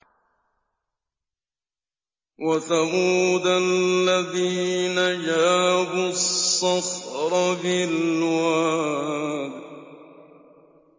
وَثَمُودَ الَّذِينَ جَابُوا الصَّخْرَ بِالْوَادِ